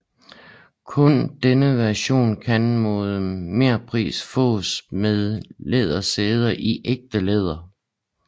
Kun denne version kan mod merpris fås med lædersæder i ægte læder